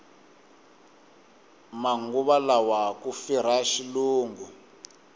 manguva lawa ku firha xilungu